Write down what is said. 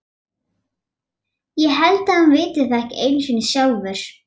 Ég held að hann viti það ekki einu sinni sjálfur.